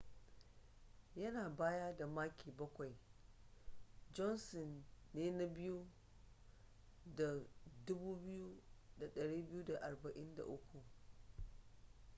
yana baya da maki bakwai johnson ne na biyu da 2,243